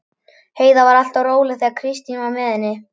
Heiða var alltaf svo róleg þegar Kristín var með henni.